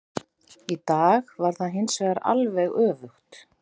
Í dag var það hinsvegar alveg öfugt.